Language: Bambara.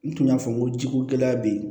N tun y'a fɔ n ko jiko gɛlɛya be yen